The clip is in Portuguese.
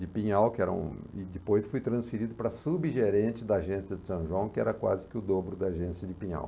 De Pinhal, que era um, e depois fui transferido para subgerente da agência de São João, que era quase que o dobro da agência de Pinhal.